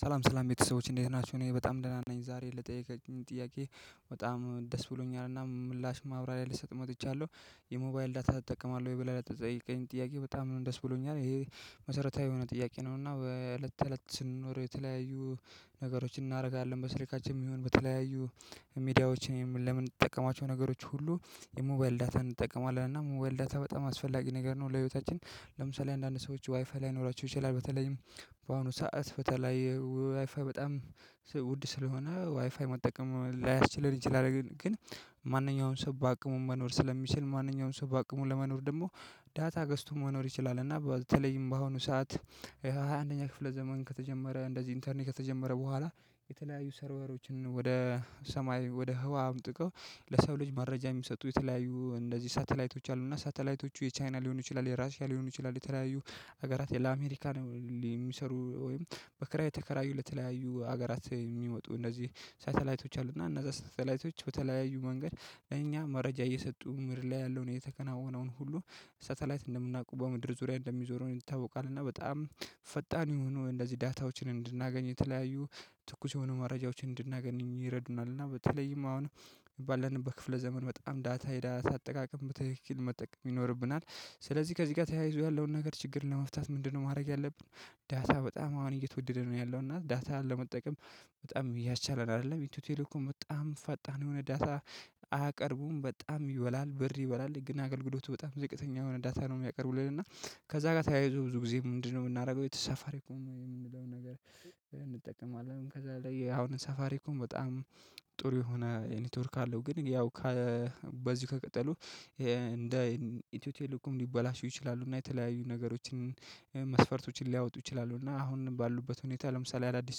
ሰላም ሰላም ቤተሰቦች እንዴት ናችሁ እኔ በጣም ደህና ነኝ ዛሬ ለጠይቃቹኝ ጥያቄ በጣም ደስ ብሎኛልና ምላሽም ማብራሪያ ልሰጥ መጥቻለሁ። የሞባይል ዳታ ትጠቀማለህ ወይ? ብለህ ለተጠየቀከኝ ጥያቄ በጣም ደስ ብሎኛል ይሄ መሰረታዊ የሆነ ጥያቄ ነው እና በእለት ተእለት ስንኖር የተለያዩ ነገሮችን እናረጋለን በስልካችን ይሁን በተለያዩ ሚዲያዎች የም ለምን ለምንጠቀማቸው ነገሮች ሁሉ የሞባይል ዳታ እንጠቀማለን እና ሞባይል ዳታ በጣም አስፈላጊ ነገር ነው። ለህይወታችን ለምሳሌ አንዳንድ ሰዎች ዋይፋይ ላይኖራቸው ይችላል በተለይም በአሁኑ ሰዓት በተለይ ዋይፋይ በጣም ውድ ስለሆነ ዋይፋይ መጠቀም ላይስችለን ይችላል ግን ማንኛውም ሰው በአቅሙ መኖር ስለሚችል ማንኛውም ሰው በአቅሙ ለመኖር ደግሞ ዳታ ገዝቶ መኖር ይችላል። እና በተለይም በአሁኑ ሰዓት የሃ ሃያ አንደኛ ክፍለ ዘመን ከተጀመረ እንደዚህ ኢንተርኔት ከተጀመረ በኋላ የተለያዩ ሰርቨሮችን ወደ ሰማይ ወደ ህዋ አምጥቀው ለሰው ልጅ መረጃ የሚሰጡ የተለያዩ እንደዚህ ሳተላይቶች አሉና ሳተላይቶቹ የቻይና ሊሆኑ ይችላል የራሺያ ሊሆኑ ይችላል የተለያዩ ሀገራት ለአሜሪካ የሚሰሩ ወይም በክራይ የተከራዩ ለተለያዩ ሀገራት የሚመጡ እንደዚህ ሳተላይቶች አሉና እነዛ ሳተላይቶች በተለያዩ መንገድ ለእኛ መረጃ እየሰጡ ምድር ላይ ያለውን የተከናወነውን ሁሉ ሰተላይት እንደምናውቀው በምድር ዙሪያ እንደሚዞረው ይታወቃል። እና በጣም ፈጣን የሆኑ እንደዚህ ዳታዎችን እንድናገኝ የተለያዩ ትኩስ የሆኑ መረጃዎችን እንድናገኝ ይረዱናል እና በተለይም አሁን ባለንበት ክፍለ ዘመን በጣም ዳታ የዳታ አጠቃቀም በትክክል መጠቀም ይኖርብናል። ስለዚህ ከዚህ ጋር ተያይዞ ያለውን ነገር ችግር ለመፍታት ምንድነው ማድረግ ያለብን? ዳታ በጣም አሁን እየተወደደ ነው ያለው እና ዳታ ለመጠቀም በጣም እያስቻለን አይደለም ኢትዮ ቴሌኮም በጣም ፈጣን የሆነ ዳታ አያቀርቡም በጣም ይወላል ብር ይበላል ግን አገልግሎቱ በጣም ዝቅተኛ የሆነ ዳታ ነው። የሚያቀርቡልን እና ከዛ ጋር ተያይዞ ብዙ ጊዜ ምንድነው የምናደርገው የተሳፋሪኮም የምንለውን ነገር እንጠቀማለን ከዛ ላይ አሁን ሳፋሪ ኮም በጣም ጥሩ የሆነ ኔትወርክ አለው። ግን ያው በዚህ ከቀጠሉ እንደ ኢትዮ ቴሌኮም ሊበላሹ ይችላሉ እና የተለያዩ ነገሮችን መስፈርቶችን ሊያወጡ ይችላሉ። እና አሁን ባሉበት ሁኔታ ለምሳሌ አዳዲስ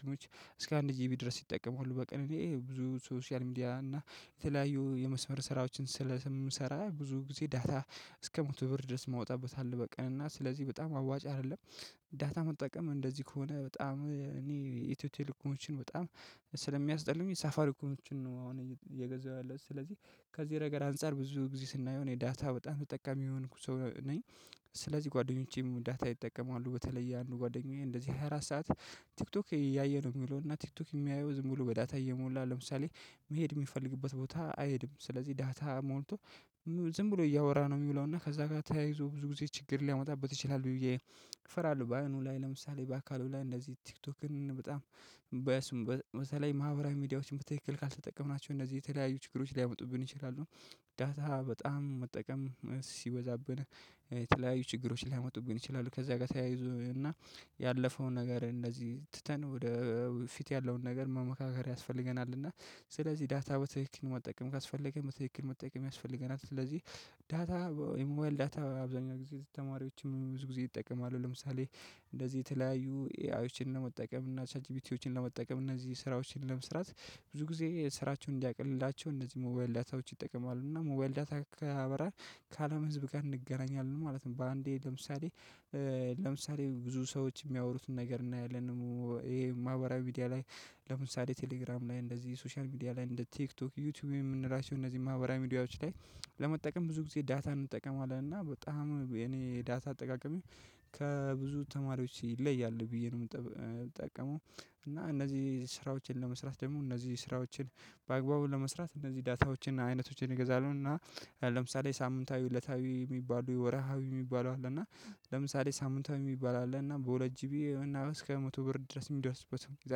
ስሞች እስከ አንድ ጂቢ ድረስ ሲጠቀም ሁሉ በቀን እኔ ብዙ ሶሻል ሚዲያ እና የተለያዩ የመስመር ስራዎችን ስለ ስም ሰራ ብዙ ጊዜ ዳታ እስከ መቶ ብር ድረስ ማውጣበት አለ በቀን እና ስለዚህ በጣም አዋጭ አይደለም። ዳታ መጠቀም እንደዚህ ከሆነ በጣም እኔ ኢትዮ ቴሌኮሞችን በጣም ስለሚያስጠሉኝ ሳፋር ኮሞችን ነው አሁን እየገዛሁ ያለሁት ስለዚህ ከዚህ ነገር አንፃር ብዙ ጊዜ ስናየው እኔ ዳታ በጣም ተጠቃሚ የሆንኩ ሰው ነኝ። ስለዚህ ጓደኞቼም ዳታ ይጠቀማሉ በተለይ የአንዱ ጓደኛዬ እንደዚህ ሃያ አራት ሰዓት ቲክቶክ እያየ ነው የሚለው እና ቲክቶክ የሚያየው ዝም ብሎ በዳታ እየሞላ ለምሳሌ መሄድ የሚፈልግበት ቦታ አይሄድም ስለዚህ ዳታ ሞልቶ ዝም ብሎ እያወራ ነው የሚውለው እና ከዛ ጋር ተያይዞ ብዙ ጊዜ ችግር ሊያመጣበት ይችላል ብዬ ፈራለሁ በአይኑ ላይ ለምሳሌ በአካሉ ላይ እንደዚህ ቲክቶክን በጣም በስም በተለይ ማህበራዊ ሚዲያዎችን በትክክል ካልተጠቀምናቸው እነዚህ የተለያዩ ችግሮች ሊያመጡብን ይችላሉ። ዳታ በጣም መጠቀም ሲበዛብን የተለያዩ ችግሮች ሊያመጡብን ይችላሉ ከዛ ጋር ተያይዞ እና ያለፈውን ነገር እንደዚህ ትተን ወደ ፊት ያለውን ነገር መመካከር ያስፈልገናል እና ስለዚህ ዳታ በትክክል መጠቀም ካስፈለገ በትክክል መጠቀም ያስፈልገናል። ስለዚህ ዳታ የሞዋል ዳታ አብዛኛው ጊዜ ተማሪዎችም ብዙ ጊዜ ይጠቀማሉ ለምሳሌ እንደዚህ የተለያዩ ኤአዮችን ለመጠቀም እና ቻትጂቢቲዎችን ለመጠቀም እነዚህ ስራዎችን ለመስራት ብዙ ጊዜ ስራቸውን እንዲያቀልላቸው እነዚህ ሞባይል ዳታዎች ይጠቀማሉ እና ሞባይል ዳታ ካበራን ከዓለም ህዝብ ጋር እንገናኛለን ማለት ነው። በአንዴ ለምሳሌ ለምሳሌ ብዙ ሰዎች የሚያወሩትን ነገር እናያለን። ይሄ ማህበራዊ ሚዲያ ላይ ለምሳሌ ቴሌግራም ላይ እንደዚህ ሶሻል ሚዲያ ላይ እንደ ቲክቶክ ዩቲዩብ የምንላቸው እነዚህ ማህበራዊ ሚዲያዎች ላይ ለመጠቀም ብዙ ጊዜ ዳታን እንጠቀማለን እና በጣም እኔ ዳታ አጠቃቀሜ ከብዙ ተማሪዎች ይለያል ብዬ ነው። የምጠቀመው እና እነዚህ ስራዎችን ለመስራት ደግሞ እነዚህ ስራዎችን በአግባቡ ለመስራት እነዚህ ዳታዎችን አይነቶችን እገዛለው እና ለምሳሌ ሳምንታዊ እለታዊ የሚባሉ ወርሃዊ የሚባሉ አለ እና ለምሳሌ ሳምንታዊ የሚባሉ አለና በሁለት ጂቢውና እስከ መቶ ብር ድረስ የሚደርሱበት ሁኔታ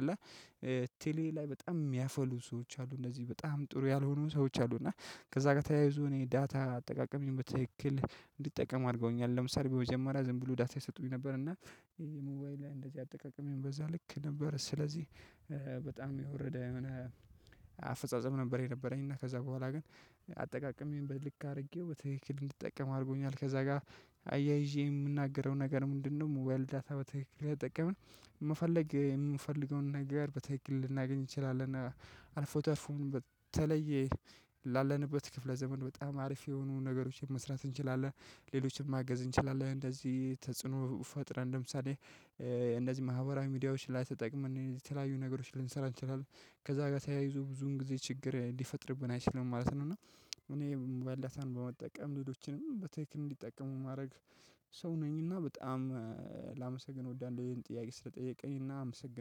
አለ። ቴሌ ላይ በጣም የሚያፈሉ ሰዎች አሉ እነዚህ በጣም ጥሩ ያልሆኑ ሰዎች አሉ እና ከዛጋ ተያይዞ እኔ ዳታ አጠቃቀሜን በትክክል እንድጠቀም አድርገውኛል ለምሳሌ በመጀመሪያ ዝም ብሎ ዳታ ይሰጡኝ ነበር እና ይሄ ሙባይል ላይ እንደዚህ አጠቃቀም የሚበዛ ልክ ነበር ስለዚህ በጣም የወረደ የሆነ አፈጻጸም ነበር የነበረኝ እና ከዛ በኋላ ግን አጠቃቀሜን በልክ አድርጌው ትክክል እንድትጠቀም አድርጎኛል። ከዛ ጋር አያይዤ የምናገረው ነገር ምንድነው? ሞባይል ዳታ በትክክል ከተጠቀምን መፈለግ የምንፈልገውን ነገር በትክክል ልናገኝ እንችላለን። አልፎተርፎም በተለየ ላለንበት ክፍለ ዘመን በጣም አሪፍ የሆኑ ነገሮችን መስራት እንችላለን። ሌሎችንም ማገዝ እንችላለን እንደዚህ ተጽዕኖ ፈጥረን ለምሳሌ እንደዚህ ማህበራዊ ሚዲያዎች ላይ ተጠቅመን የተለያዩ ነገሮችን ልንሰራ እንችላለን ከዛ ጋር ተያይዞ ብዙን ጊዜ ችግር ሊፈጥርብን አይችልም ማለት ነው። እና እኔ ሞባይልዳታን በመጠቀም ልጆችንም በትክክል እንዲጠቀሙ ማረግ ሰው ነኝ እና በጣም ላመሰግን እወዳለው ይሄን ጥያቄ ስለጠየቀኝ እና አመሰግናለሁ